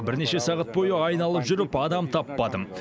бірнеше сағат бойы айналып жүріп адам таппадым